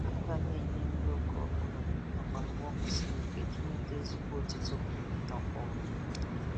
Aga na-enye nri oge obụla nakwa mgbe o kwesiri iji nweta ezigbo otito nakwa ọmụmụ